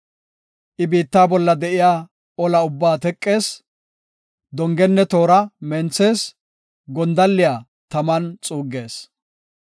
I biitta bolla de7iya olaa ubbaa teqees; dongenne toora menthees; gondalliya taman xuuggees.